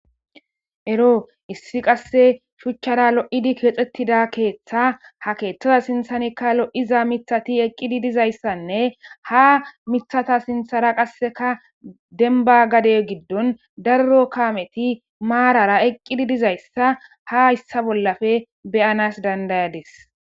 Ero issi qase shuchara lo'idi keexetida keeththa ha keethaza sinthanikka lo'iza mithati eqizi dizaysanne ha mithatas sinthara qasekka dembba gade gidon daro kaameti maarara eqqidi dizayssa ta hayssa bollappe be'anas danda'adiis issi keehippe loo'zayssine izetta sinththan daro makinatti eqqidi dizayssa besees .